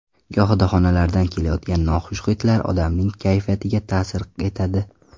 Gohida xonalardan kelayotgan noxush hidlar odamning kayfiyatiga ta’sir etadi.